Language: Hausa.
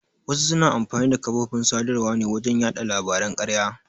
Wasu suna amfani da kafofin sadarwa ne wajen yaɗa labaran ƙarya.